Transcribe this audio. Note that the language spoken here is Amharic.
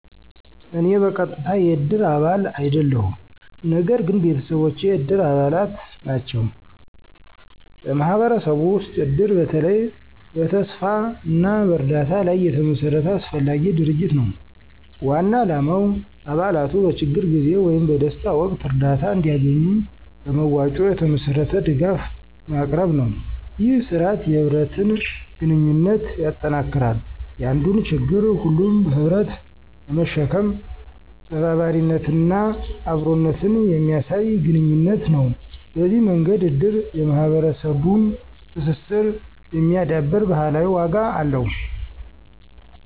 እኔ በቀጥታ የእድር አባል አይደለሁም፣ ነገር ግን ቤተሰቦቼ የእድር አባላት ናቸው። በማህበረሰቡ ውስጥ እድር በተለይ በተስፋ እና በእርዳታ ላይ የተመሰረተ አስፈላጊ ድርጅት ነው። ዋና ዓላማው አባላቱ በችግር ጊዜ ወይም በደስታ ወቅት እርዳታ እንዲያገኙ በመዋጮ የተመሠረተ ድጋፍ ማቅረብ ነው። ይህ ሥርዓት የህብረትን ግንኙነት ያጠናክራል፣ የአንዱን ችግር ሁሉም በህብረት በመሸከም ተባባሪነትንና አብሮነትን የሚያሳይ ግንኙነት ነው። በዚህ መንገድ እድር የማህበረሰቡን ትስስር የሚያዳብር ባህላዊ ዋጋ አለው።